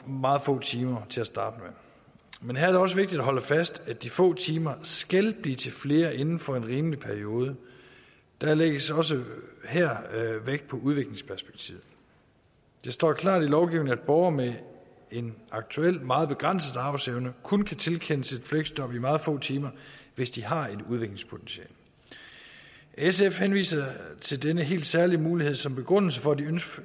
meget få timer til at starte med men her er det også vigtigt at holde fast i at de få timer skal blive til flere inden for en rimelig periode der lægges også her vægt på udviklingsperspektivet det står klart i lovgivningen at borgere med en aktuelt meget begrænset arbejdsevne kun kan tilkendes et fleksjob i meget få timer hvis de har et udviklingspotentiale sf henviser til denne helt særlige mulighed som begrundelse for at